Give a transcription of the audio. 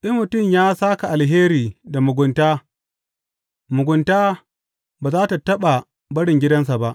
In mutum ya sāka alheri da mugunta, mugunta ba za tă taɓa barin gidansa ba.